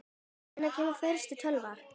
Hvenær kom fyrsta tölvan?